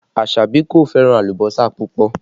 Asabi kò fẹ́ràn alùbọ́sà púpọ̀